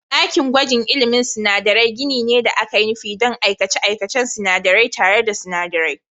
Ɗakin gwajin ilmin sinadarai gini ne da aka yi nufi don aikace-aikacen sinadarai tare da sinadarai.